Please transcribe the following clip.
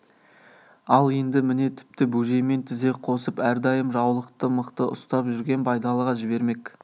ал енді міне тіпті бөжеймен тізе қосып әрдайым жаулықты мықты ұстап жүрген байдалыға жібермек